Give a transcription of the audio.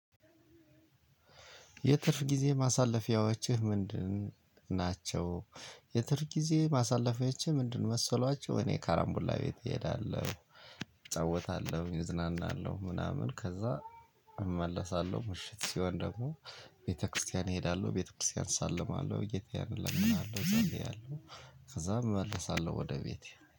የትርፍ ጊዜ ማሳለፊያዎችህ ምንድን ናቸው? የትርፍ ጊዜ ማሳለፊያዎቼ ምንድን መሰሏቸው እኔ ካራምቡላ ቤት እሄዳለሁ። እጫወታለሁ እዝናናለሁ ምናምን ከዛ እመለሳለሁ ምሽት ሲሆን ደግሞ ቤተክርስቲያን እሄዳለሁ ቤተክርስቲያን እሳለማለሁ ጌታዬን እለምንአለው እጸልያለሁ። ከዛም እመለሳለሁ ወደ ቤቴ